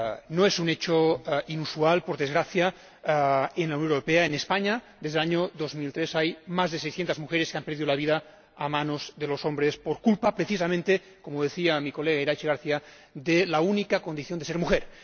No es un hecho inusual, por desgracia, en la Unión Europea en España, desde el año 2003, más de 600 mujeres han perdido la vida a manos de los hombres por culpa, precisamente —como decía mi colega Iratxe García— de la única condición de ser mujer.